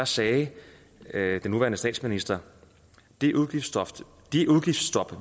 sagde sagde den nuværende statsminister det udgiftsstop